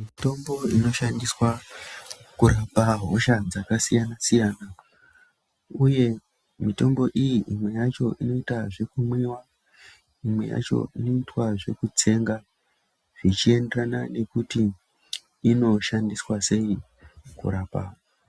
Mutombo iri kushandiswa kurapa hosha dzakasiyana siyana uye mitombo iyi imwe yacho inoita zvekumwiwa. Imwe yacho inoitwa zvekutsenga zvichienderana nekuti inoshandiswa sei kurapa